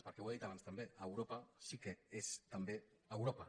perquè ho he dit abans també europa sí que és també europa